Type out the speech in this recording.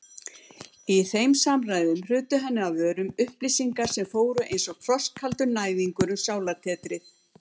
Í þeim samræðum hrutu henni af vörum upplýsingar sem fóru einsog frostkaldur næðingur um sálartetrið.